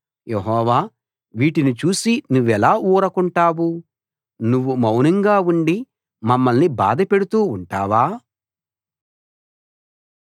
యెహోవా వీటిని చూసి నువ్వెలా ఊరకుంటావు నువ్వు మౌనంగా ఉండి మమ్మల్ని బాధపెడుతూ ఉంటావా